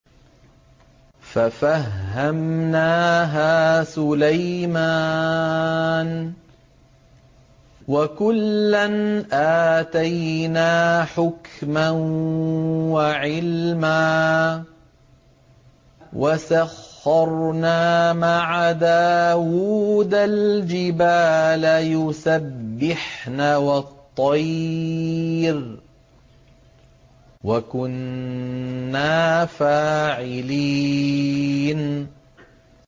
فَفَهَّمْنَاهَا سُلَيْمَانَ ۚ وَكُلًّا آتَيْنَا حُكْمًا وَعِلْمًا ۚ وَسَخَّرْنَا مَعَ دَاوُودَ الْجِبَالَ يُسَبِّحْنَ وَالطَّيْرَ ۚ وَكُنَّا فَاعِلِينَ